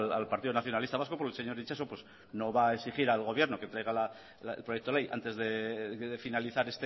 al partido nacionalista vasco porque el señor itxaso pues no va a exigir al gobierno que traiga el proyecto de ley antes de finalizar